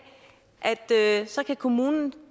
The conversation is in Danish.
skal kommunen